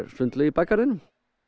sundlaug í bakgarðinum